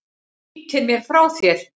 Ýtir mér frá þér.